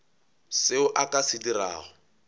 seo a ka se dirago